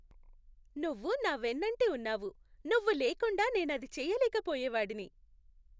నువ్వు నా వెన్నంటి ఉన్నావు! నువ్వు లేకుండా నేనది చేయలేకపోయేవాడిని.